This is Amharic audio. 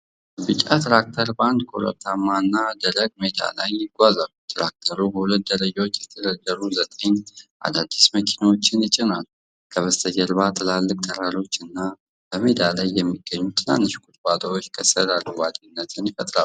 ቢጫ ትራክተር በአንድ ኮረብታማና ደረቅ ሜዳ ላይ ይጓዛል። ትራክተሩ በሁለት ደረጃዎች የተደረደሩ ዘጠኝ አዳዲስ መኪናዎችን ይጭኗል። በስተጀርባ ትላልቅ ተራሮችና በሜዳ ላይ የሚገኙ ትናንሽ ቁጥቋጦዎች ከስር አረንጓዴነት ይፈጥራሉ።